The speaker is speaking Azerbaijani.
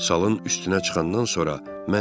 Salın üstünə çıxandan sonra mən dedim: